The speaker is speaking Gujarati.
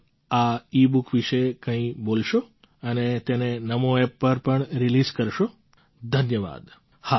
શું આપ આ ઇબુક વિશે કંઈ બોલશો અને તેને NamoApp પર પણ રિલીઝ કરશો ધન્યવાદ